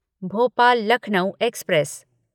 Bhopal Lucknow express